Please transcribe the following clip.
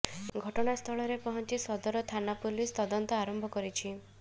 ଘଟଣାସ୍ଥଳରେ ପହଞ୍ଚି ସଦର ଥାନା ପୋଲିସ ତଦନ୍ତ ଆରମ୍ଭ କରିଛି